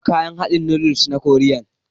Na gan kayan hadin noodles na koriyan.